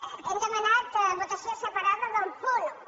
li hem demanat votació separada del punt un